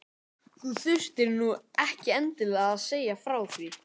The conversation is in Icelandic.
Þú þurftir nú ekki endilega að segja frá því